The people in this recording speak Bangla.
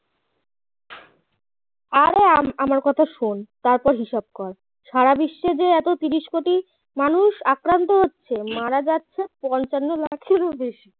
আরে আমআমার কথা শোন তারপর হিসাব কর সারা বিশ্বে যে এত তিরিশ কোটি মানুষ আক্রান্ত হচ্ছে মারা যাচ্ছে পঞ্চান্ন লাখেরও বেশি